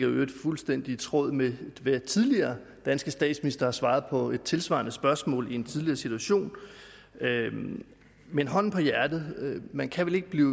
i øvrigt fuldstændig i tråd med hvad tidligere danske statsministre har svaret på et tilsvarende spørgsmål i en tidligere situation men hånden på hjertet man kan vel ikke blive